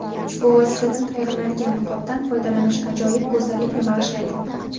Ushbu vositadan tayyorlanadigan niqobdan foydalanish ajoyib go‘zallik bag‘ishlaydi.